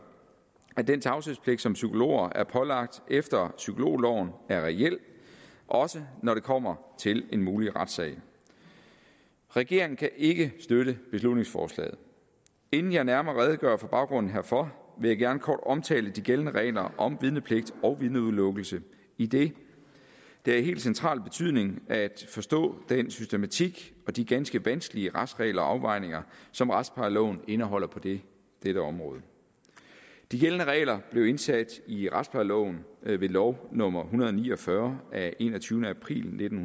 at den tavshedspligt som psykologer er pålagt efter psykologloven er reel også når det kommer til en mulig retssag regeringen kan ikke støtte beslutningsforslaget inden jeg nærmere redegør for baggrunden for vil jeg gerne kort omtale de gældende regler om vidnepligt og vidneudelukkelse idet det er af helt central betydning at forstå den systematik og de ganske vanskelige retsregler og afvejninger som retsplejeloven indeholder på dette dette område de gældende regler blev indsat i retsplejeloven ved lov nummer en hundrede og ni og fyrre af enogtyvende april nitten